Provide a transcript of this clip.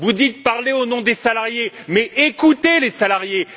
Vous dites parler au nom des salariés, mais écoutez les salariés!